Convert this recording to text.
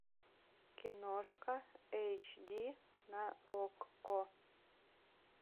киношка эйч ди на окко